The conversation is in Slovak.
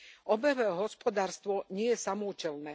Obehové hospodárstvo nie je samoúčelné.